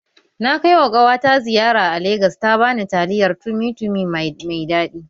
Na kaiwa ƙawata ziyara a Legas ta bani taliyar tumi tumi mai daɗi